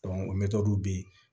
mɛ mɛtiriw be yen